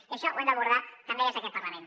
i això ho hem d’abordar també des d’aquest parlament